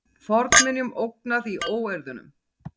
Fornminjum ógnað í óeirðunum